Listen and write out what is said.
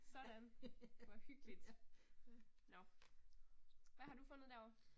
Sådan, hvor hyggeligt. Nåh, hvad har du fundet derovre?